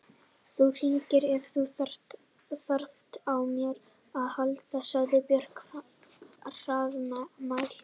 Þú hringir ef þú þarft á mér að halda, sagði Björg hraðmælt.